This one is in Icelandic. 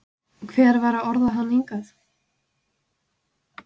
Hver var að orða hann hingað?